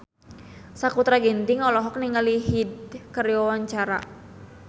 Sakutra Ginting olohok ningali Hyde keur diwawancara